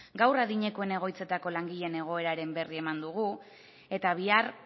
gaur adinekoen egoitzetako langileen egoeraren berri eman dugu eta bihar